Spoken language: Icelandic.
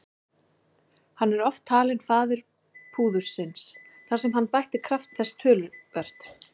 Hann er oft talinn faðir púðursins þar sem hann bætti kraft þess töluvert.